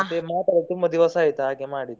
ಮತ್ತೆ ಮಾತಾಡದೆ ತುಂಬಾ ದಿವಸ ಆಯ್ತ ಹಾಗೆ ಮಾಡಿದ್ದು.